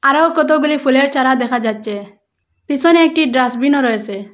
আরও কতগুলি ফুলের চারা দেখা যাচ্ছে পিসনে একটি ডাস্টবিনও রয়েসে ।